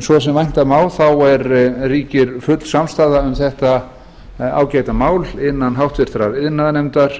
svo sem vænta má ríkir full samstaða um þetta ágæta mál innan háttvirtur iðnaðarnefndar